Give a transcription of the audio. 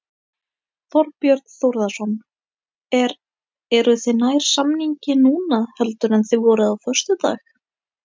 Þorbjörn Þórðarson: Er, eruð þið nær samningi núna heldur en þið voruð á föstudag?